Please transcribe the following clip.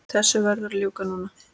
Þessu verður að ljúka núna